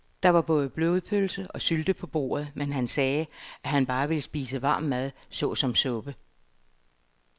Der var både blodpølse og sylte på bordet, men han sagde, at han bare ville spise varm mad såsom suppe.